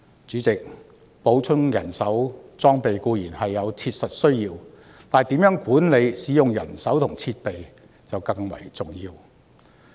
主席，補充人手和裝備固然有切實需要，但如何管理使用人手和設備更為重要。